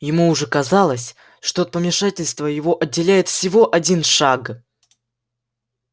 ему уже казалось что от помешательства его отделяет всего один шаг